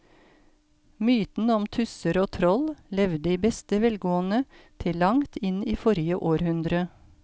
Mytene om tusser og troll levde i beste velgående til langt inn i forrige århundre.